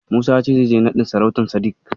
Musa ya ce zai je naɗin sarautar Sadik.